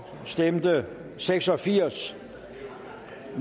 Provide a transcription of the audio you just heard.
stemte seks og firs